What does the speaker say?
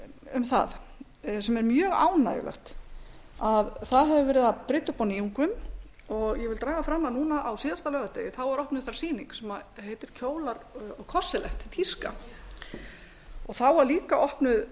um það sem er mjög ánægjulegt það hefur verið að brydda upp á nýjungum ég vil draga fram að núna á síðasta laugardegi var opnuð það sýning sem heitir kjólar og korselett líka þá var líka opnuð